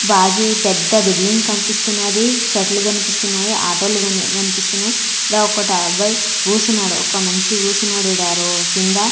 బాజీ ఈ పెద్ద బిల్లింగ్ కనిపిస్తున్నది చెట్లు కనిపిస్తున్నాయి ఆటో లు కని-- కనిపిస్తున్నాయి ఇక్కడ ఒకటి అబ్బాయి గూసున్నాడు ఒక మనిషి గూసున్నాడు విడారో కింద.